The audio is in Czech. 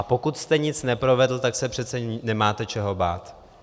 A pokud jste nic neprovedl, tak se přece nemáte čeho bát.